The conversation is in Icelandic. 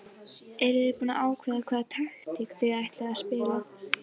Ertu búinn að ákveða hvaða taktík þið ætlið að spila?